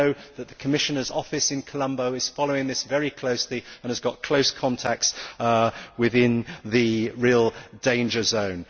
I know that the Commissioner's office in Colombo is following this very closely and has close contacts within the real danger zone.